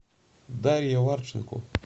дарья варченко